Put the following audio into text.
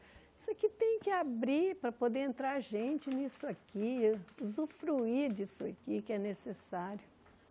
Isso aqui tem que abrir para poder entrar gente nisso aqui, usufruir disso aqui que é necessário.